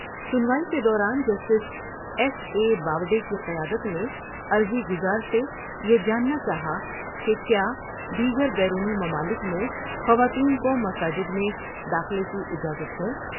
سنوائی کے دوران justice S A Bobde کی قیادت میں عرضی گزار سے یہ جاننا چاہا کہ کیا دیگر بیرونی ممالک میں خواتین کو مساجد میں داخلے کی اجازت ہے ۔